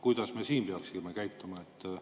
Kuidas me peaksime käituma?